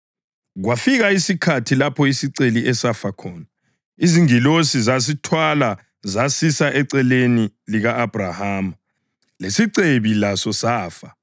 Kwafika isikhathi lapho isiceli esafa khona, izingilosi zasithwala zasisa eceleni lika-Abhrahama. Lesicebi laso safa, sabekwa.